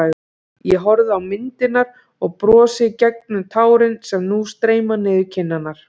Ég horfi á myndirnar og brosi gegnum tárin sem nú streyma niður kinnarnar.